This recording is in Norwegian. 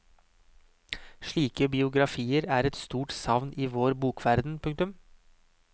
Slike biografier er et stort savn i vår bokverden. punktum